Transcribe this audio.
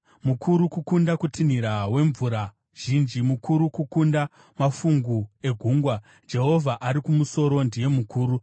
Mukuru kukunda kutinhira wemvura zhinji, mukuru kukunda mafungu egungwa, Jehovha ari kumusoro ndiye mukuru.